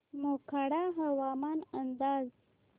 मोखाडा हवामान अंदाज